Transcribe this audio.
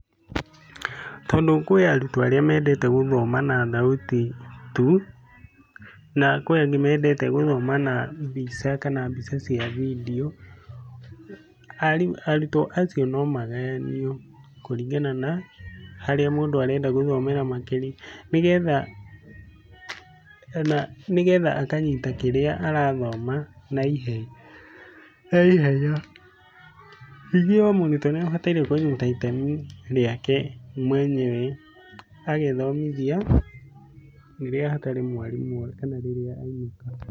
Tondu kwĩ arutwo arĩa mendete gũthoma na thauti tu, na kwĩ angĩ mendete gũthoma na mbica kana mbica cia bindiũ, arutwo acio no magayanio kũringana na harĩa mũndũ arenda gũthomera makĩria. Ni getha ona nĩ getha akanyita kĩrĩa arathoma na ihenya. Ningĩ o mũrutwo nĩ abataire kũnyita itemi rĩake mwenyewe, agethomithia rĩrĩa hatarĩ mwarimũ kana rĩrĩa e wika.